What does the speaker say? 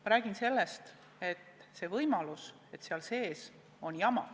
Ma räägin sellest, et on võimalus, et seal sees on jama.